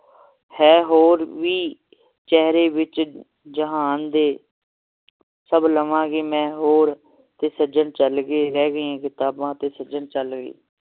ਹੈ ਹੋਰ ਵੀ ਚੇਹਰੇ ਵਿਚ ਜਹਾਨ ਦੇ ਸਬ ਲਵਾਂਗੀ ਮੈਂ ਹੋਰ ਤੇ ਸੱਜਣ ਚਲ ਗਏ ਰਹਿ ਗਏ ਕਿਤਾਬਾਂ ਤੇ ਸੱਜਣ ਚਲ ਗਏ